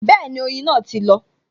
Bẹẹni, oyin náà ti lọ